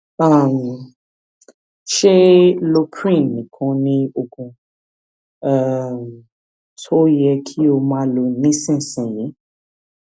um ṣé loprin nìkan ni oògùn um tó yẹ kí o máa lò nísinsìnyí